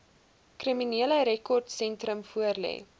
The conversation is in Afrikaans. kriminele rekordsentrum voorlê